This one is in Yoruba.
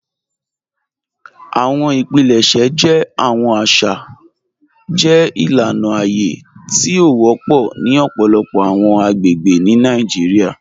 Awọn ipilẹṣẹ jẹ awọn aṣa jẹ ilana aye ti o wọpọ ni ọpọlọpọ awọn agbegbe ni Nàìjíríà.